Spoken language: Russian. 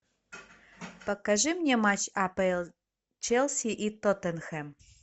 покажи мне матч апл челси и тоттенхэм